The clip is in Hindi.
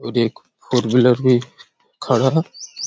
वो देखो फोर व्हीलर भी खड़ा हैं।